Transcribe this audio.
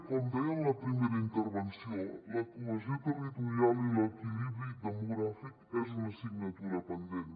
com deia en la primera intervenció la cohesió territorial i l’equilibri demogràfic és una assignatura pendent